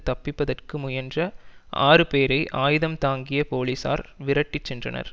தப்பிப்பதற்கு முயன்ற ஆறு பேரை ஆயுதம் தாங்கிய போலீசார் விரட்டிச் சென்றனர்